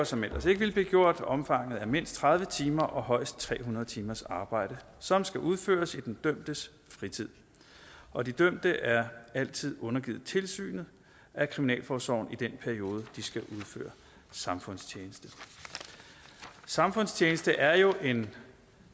som ellers ikke ville blive gjort og omfanget er mindst tredive timer og højst tre hundrede timers arbejde som skal udføres i den dømtes fritid og de dømte er altid undergivet tilsynet af kriminalforsorgen i den periode hvor de skal udføre samfundstjeneste samfundstjeneste er jo en